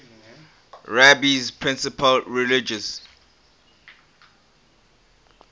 rabbi's principal religious